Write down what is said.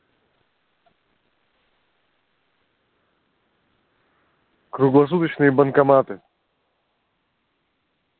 круглосуточные банкоматы